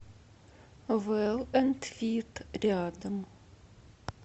вел энд фит рядом